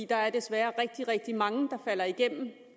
der er desværre rigtig rigtig mange der falder igennem